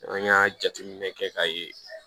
An y'a jateminɛ kɛ k'a ye